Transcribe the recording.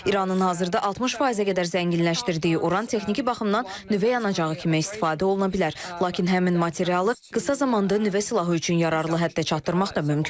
İranın hazırda 60%-ə qədər zənginləşdirdiyi Uran texniki baxımdan nüvə yanacağı kimi istifadə oluna bilər, lakin həmin materialı qısa zamanda nüvə silahı üçün yararlı həddə çatdırmaq da mümkündür.